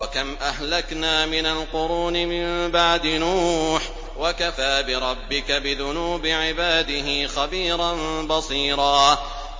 وَكَمْ أَهْلَكْنَا مِنَ الْقُرُونِ مِن بَعْدِ نُوحٍ ۗ وَكَفَىٰ بِرَبِّكَ بِذُنُوبِ عِبَادِهِ خَبِيرًا بَصِيرًا